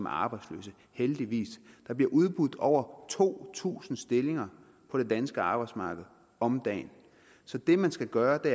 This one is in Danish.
arbejdsløse heldigvis der bliver udbudt over to tusind stillinger på det danske arbejdsmarked om dagen så det man skal gøre og det